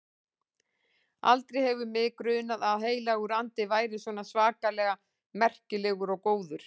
Aldrei hefur mig grunað að Heilagur Andi væri svona svakalega merkilegur og góður.